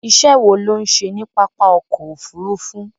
Iṣẹ́ wo ló ń ṣe ní pápá ọkọ̀ Òfurufú?